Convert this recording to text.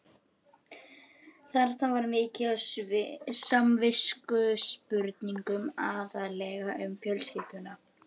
Þarna var mikið af samviskuspurningum, aðallega um fjölskylduna.